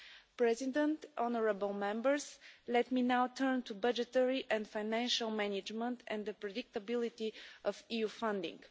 Mr President, honourable Members, let me now turn to budgetary and financial management, and the predictability of EU funding.